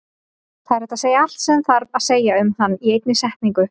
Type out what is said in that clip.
Það er hægt að segja allt sem þarf að segja um hann í einni setningu.